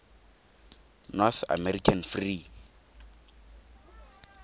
north american free